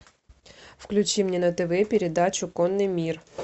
включи мне на тв передачу конный мир